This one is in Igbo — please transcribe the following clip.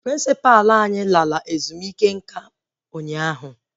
Prịnsịpa anyị kwụsịrị ọrụ maka ezumike nka ụnyaahụ